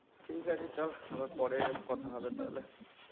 ঠিক আছে চল আবার পরে কথা হবে তাহলে